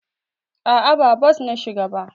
A'a, ba bos na shiga ba.